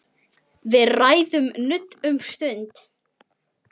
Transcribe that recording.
Við ræðum nudd um stund.